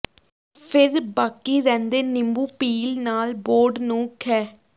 ਫਿਰ ਬਾਕੀ ਰਹਿੰਦੇ ਨਿੰਬੂ ਪੀਲ ਨਾਲ ਬੋਰਡ ਨੂੰ ਖਹਿ